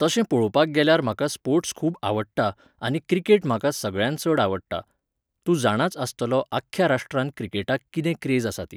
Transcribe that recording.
तशें पळोवपाक गेल्यार म्हाका स्पोर्ट्स खूब आवडटा आनी क्रिकेट म्हाका सगळ्यांत चड आवडटा. तूं जाणाच आसतलो आख्ख्या राष्ट्रांत क्रिकेटाक कितें क्रेज आसा ती